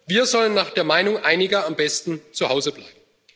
Wir sollen nach der Meinung einiger am besten zu Hause bleiben!